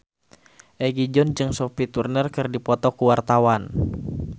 Egi John jeung Sophie Turner keur dipoto ku wartawan